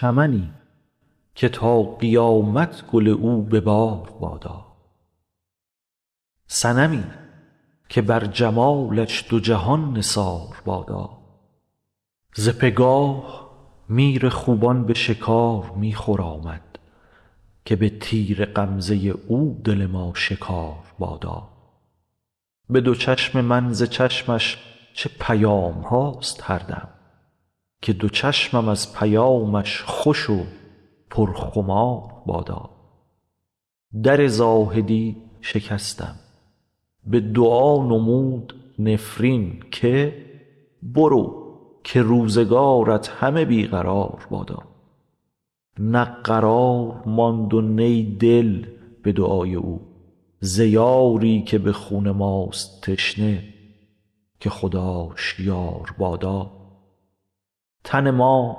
چمنی که تا قیامت گل او به بار بادا صنمی که بر جمالش دو جهان نثار بادا ز بگاه میر خوبان به شکار می خرامد که به تیر غمزه او دل ما شکار بادا به دو چشم من ز چشمش چه پیام هاست هر دم که دو چشم از پیامش خوش و پرخمار بادا در زاهدی شکستم به دعا نمود نفرین که برو که روزگارت همه بی قرار بادا نه قرار ماند و نی دل به دعای او ز یاری که به خون ماست تشنه که خداش یار بادا تن ما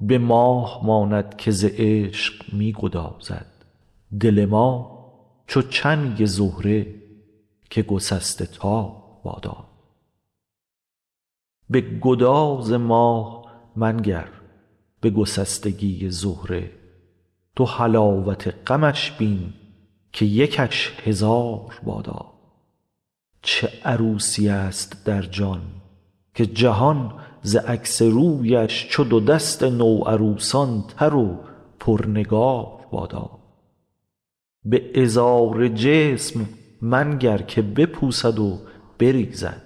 به ماه ماند که ز عشق می گدازد دل ما چو چنگ زهره که گسسته تار بادا به گداز ماه منگر به گسستگی زهره تو حلاوت غمش بین که یکش هزار بادا چه عروسیست در جان که جهان ز عکس رویش چو دو دست نوعروسان تر و پرنگار بادا به عذار جسم منگر که بپوسد و بریزد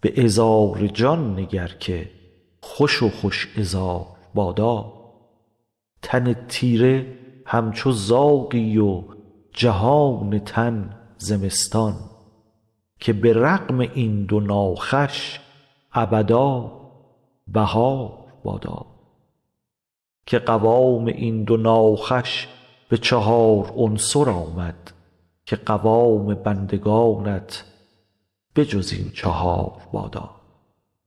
به عذار جان نگر که خوش و خوش عذار بادا تن تیره همچو زاغی و جهان تن زمستان که به رغم این دو ناخوش ابدا بهار بادا که قوام این دو ناخوش به چهار عنصر آمد که قوام بندگانت به جز این چهار بادا